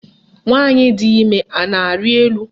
Nwaanyị di ime a na-arị elu?